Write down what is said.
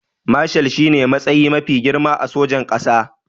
Mashal shine matsayi mafi girma a sojin ƙasa